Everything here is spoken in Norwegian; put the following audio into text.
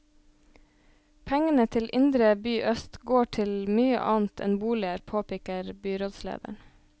Pengene til indre by øst går til mye annet enn boliger, påpeker byrådslederen.